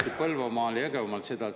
… tehti Põlvamaal ja Jõgevamaal seda.